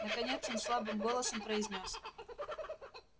наконец он слабым голосом произнёс